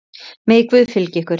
Megi Guð fylgja ykkur.